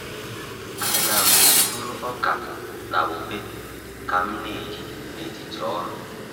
A na'm-eburu ọka na ube ka m na-eri n’etiti ọrụ.